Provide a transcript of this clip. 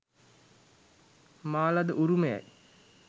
මා ලද උරුමයයි.